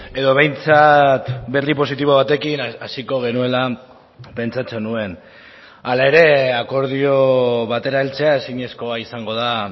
edo behintzat berri positibo batekin hasiko genuela pentsatzen nuen hala ere akordio batera heltzea ezinezkoa izango da